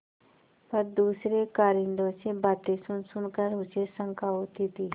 पर दूसरे कारिंदों से बातें सुनसुन कर उसे शंका होती थी